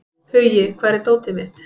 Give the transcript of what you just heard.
Hugi, hvar er dótið mitt?